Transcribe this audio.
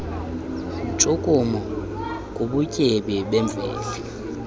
ntshukumo kubutyebi bemvelo